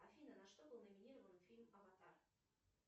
афина на что был номинирован фильм аватар